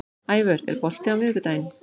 Ævör, er bolti á miðvikudaginn?